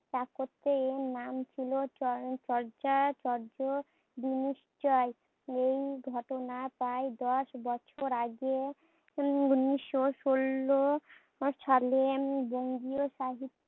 স্থাপত্তে এর নাম ছিল এই ঘটনা প্রায় দশ বছর আগে উনিশ্য ষোল সালে উম বঙ্গীয় সাহি